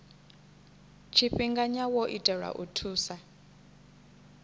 tshifhinganya wo itelwa u thusa